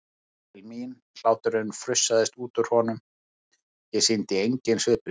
Hann leit til mín, hláturinn frussaðist út úr honum, ég sýndi engin svipbrigði.